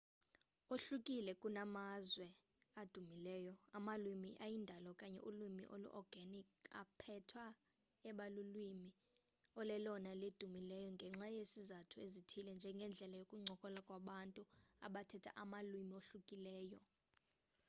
ohlukile kunamazwi adumileyo amalwimi ayindalo okanye ulwimi olu-organic aphetha ebalulwimi olelona elidumileyo ngenxa yezizathu ezithile njengendlela yokuncokola kwabantu abathetha amalwimi ohlukileyo